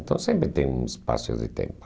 Então sempre tem um espaço de tempo.